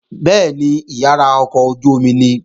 Bẹ́ẹ̀ni, ìyàrá ọkọ̀ ojú-omi nìí